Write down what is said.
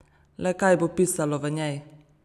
Le kaj bo pisalo v njej?